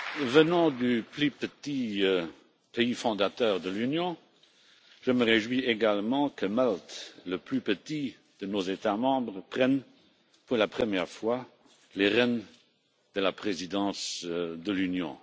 Venant du plus petit pays fondateur de l'Union, je me réjouis également que Malte, le plus petit de nos États membres, prenne pour la première fois les rênes de la présidence de l'Union.